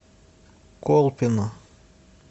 колпино